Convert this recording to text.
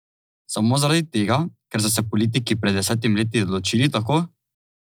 Samo zaradi tega, ker so se politiki pred desetimi leti odločili tako?